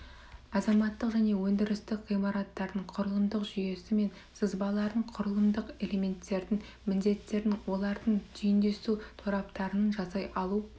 азаматтық және өндірістік ғимараттардың құрылымдық жүйесі мен сызбаларын құрылымдық элементтердің міндеттерін олардың түйіндесу тораптарын жасай алу